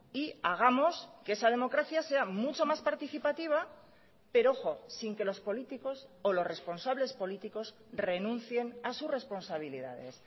y hagamos que esa democracia sea mucho más participativa pero ojo sin que los políticos o los responsables políticos renuncien a sus responsabilidades